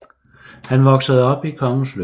Han voksede op i Kongens Lyngby